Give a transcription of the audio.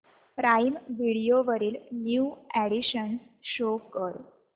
prime Video वरील new additions show कर